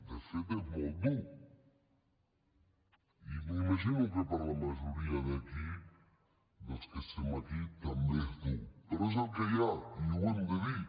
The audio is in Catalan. de fet és molt dur i m’imagino que per a la majoria d’aquí dels que estem aquí també és dur però és el que hi ha i ho hem de dir